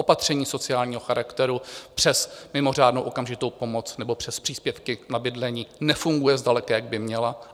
Opatření sociálního charakteru přes mimořádnou okamžitou pomoc nebo přes příspěvky na bydlení nefungují zdaleka, jak by měla.